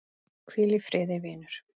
Hvíl í friði, vinur.